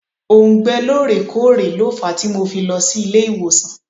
Òùngbẹ lóòrè kóòrè lo fàá tí mo fi lọ sí ilé ìwòsàn.